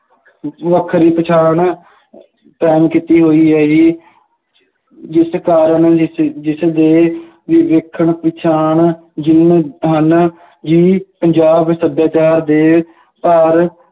ਵੱਖਰੀ ਪਛਾਣ ਕਾਇਮ ਕੀਤੀ ਹੋਈ ਹੈ ਜੀ ਜਿਸ ਕਾਰਨ ਜਿਸਦੇ ਦੇਖਣ ਪਛਾਣ ਜੋ ਹਨ ਜੀ ਪੰਜਾਬ ਸੱਭਿਆਚਾਰ ਦੇ ਘਰ